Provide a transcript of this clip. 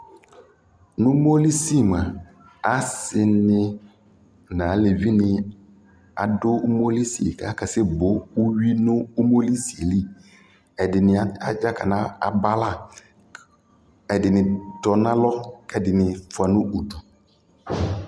nʋ ʋmɔlisi mʋa ,asii ni nʋ alʋvi ni adʋ ʋmɔlisi kʋ akasɛ bɔ ʋwi nʋ ʋmɔlisi li, ɛdini adzakana bala, ɛdinitɔnʋ alɔ kʋɛdini ƒʋa nʋʋdʋ